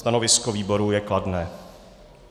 Stanovisko výboru je kladné.